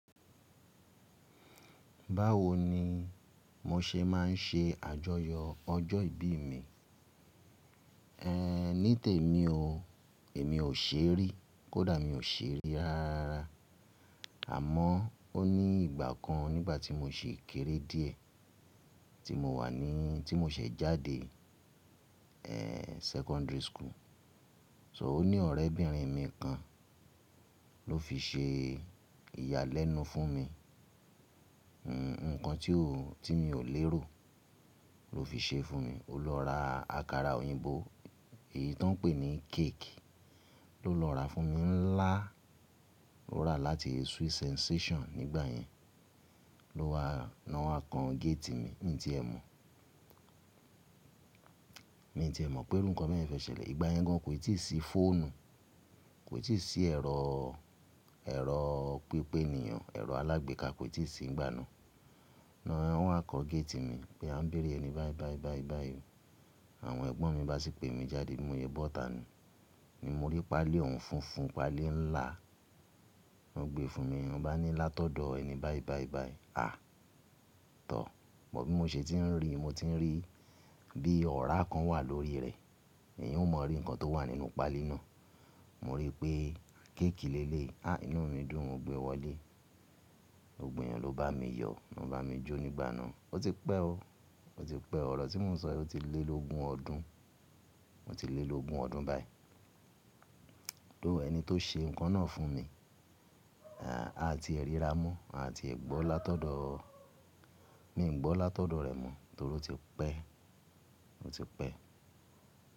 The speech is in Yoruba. Báwo ni mo ṣe má n ṣe àjọyọ̀ ọjọ́ ìbí mi? Ehn, ní tèmi o, èmi ò ṣe rí, kódà mi ò ṣe rí rárá. Àmọ́ ó ní ìgbà kan nígbà tí mo ṣi kéré díẹ̀, tí mo wà ní, tí mo ṣẹ̀ jáde, ehn, secondary school. So ó ní ọ̀rẹ́ bìnrin mi kan ló fi ṣe ìyálẹ́nu fún mi. Hmn, nǹkan tí ò, tí mi ò lérò ló fi ṣe fún mi. Ó lọ ra àkàrà òyìnbó, èyí tó n pè ní cake. Ló lọ ra fún mi ńlá, ó ra láti Sweet Sensation nígbàyẹn. Ló wa, lọ́ wa kan gate mi, mi tí ẹ mọ̀, mi tí ẹ mọ̀ pé irú nǹkan bẹ́yẹn fẹ́ ṣẹlẹ̀. Ìgbà yẹn gan kò ì tíì sí fóònù, kò ì tíì sí ẹ̀rọ, ẹ̀rọ pípénìyàn, ẹ̀rọ alágbèéká kò ì tíì sí nígbà náà. Náà wọ́n wa kan gate mi pé a n béèrè ẹni báì báì báì báì. Àwọn ẹ̀gbọ́n mi bá sì pè mi jáde bi mo se bọ́ta niyen. Ni mo rí pálí ọ̀hún funfun, pálí ńlá wọ́n gbé fún mi. Wọ́n bá ni látọ̀dọ̀ ẹni báì báì báì. Àà tọ́. Bí mo ṣe ti n rí i, mo ti n rí bí ọ̀rá kan wà lórí rẹ̀. Èeyan ò mọ̀ rí nǹkan tó wà nínú pálí náà. Mo rí i pé kéèkì lé leyi. Ah inú mi dùn. Ó gbe wọlé. Gbogbo èèyàn ló bá mi yọ, ná bá mi jó nígbà náà. Ó ti pẹ́ o, ó ti pẹ́. Ọ̀rọ̀ tí mò ń sọ èyí ó ti lé lógun ọdún, ó ti lé lógun ọdún báyìí. Lóò ẹni tó ṣe nǹkan náà fún mi, à à ti è ríra mọ́, à à ti è gbọ́ látọ̀dọ̀, mi o gbọ́ látọ̀dọ̀ rẹ̀ mọ́ torí ó ti pẹ́, ó ti pẹ́.